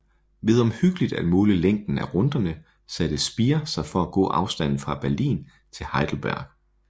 Ved omhyggeligt at måle længden af runderne satte Speer sig for at gå afstanden fra Berlin til Heidelberg